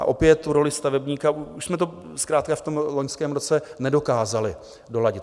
A opět tu roli stavebníka, už jsme to zkrátka v tom loňském roce nedokázali doladit.